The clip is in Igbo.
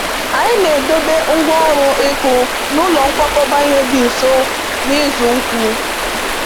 Anyị na-edobe ngwa ọrụ ịkụ n’ụlọ nkwakọba ihe dị nso n’ụzọ ukwu